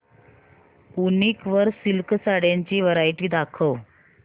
वूनिक वर सिल्क साड्यांची वरायटी दाखव